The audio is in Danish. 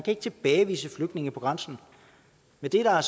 ikke tilbagevise flygtninge på grænsen men det er